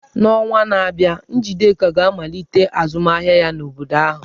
N'ọnwa na-abịa, Njideka ga-amalite azụmahịa ya n'obodo ahụ.